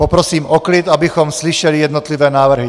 Poprosím o klid, abychom slyšeli jednotlivé návrhy.